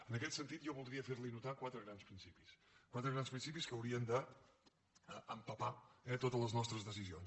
en aquest sentit jo voldria fer li notar quatre grans principis quatre grans principis que haurien d’ empapar eh totes les nostres decisions